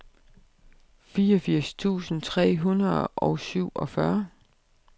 fireogfirs tusind tre hundrede og syvogfyrre